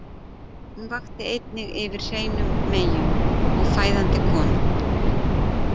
Hún vakti einnig yfir hreinum meyjum og fæðandi konum.